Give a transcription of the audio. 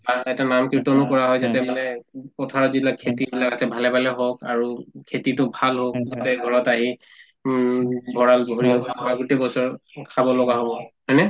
আৰু তাতে নাম-কীৰ্তনো কৰা হয় যাতে মানে উম পথাৰত যিবিলাক খেতিবিলাক আছে ভালে ভালে হওঁক আৰু উব খেতিতো ভাল হওঁক যাতে ঘৰত আহি উম ভড়ালতো ভৰি গোটেই বছৰ উম খাব লগা হব হয় নে